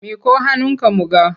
Miƙo hannunka mu ga!